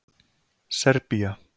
Serbía